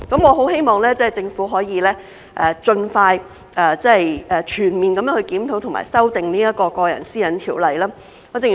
我很希望政府可以盡快全面檢討和修訂《私隱條例》。